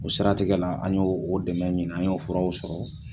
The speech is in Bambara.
O siratigɛ la an y' o dɛmɛ ɲini an y'o furaw sɔrɔ